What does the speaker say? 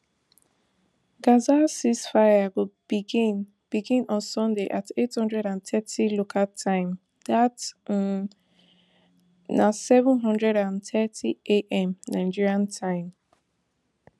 gaza ceasefire go begin begin on sunday at eight hundred and thirty local time dat um na seven hundred and thirtyam nigeria time